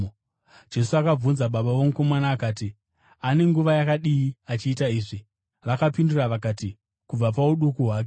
Jesu akabvunza baba vomukomana akati, “Ane nguva yakadii achiita izvi?” Vakapindura vakati, “Kubva pauduku hwake.